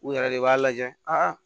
U yɛrɛ de b'a lajɛ